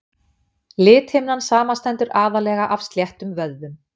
Lithimnan samanstendur aðallega af sléttum vöðvum.